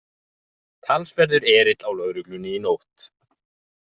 Talsverður erill á lögreglunni í nótt